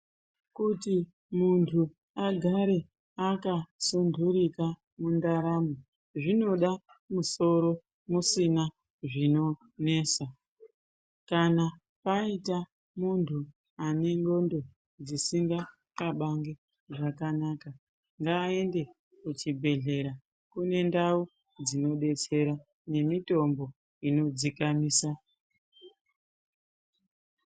Kuti muntu agare akasunturika mundaramo zvinoda musoro musina zvinonesa. Kana paita muntu une ndxondo dzisinga xabangi ngaaende kuchibhehlera kune ndau dzinodetsera nemitombo inodzikamisa.